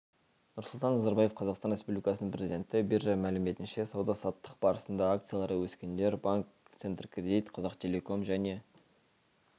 нұрсұлтан назарбаев қазақстан республикасының президенті биржа мәліметінше сауда-саттық барысында акциялары өскендер банк центркредит қазақтелеком және